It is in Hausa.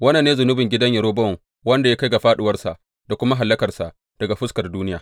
Wannan ne zunubin gidan Yerobowam da ya kai ga fāɗuwarsa da kuma hallakarsa daga fuskar duniya.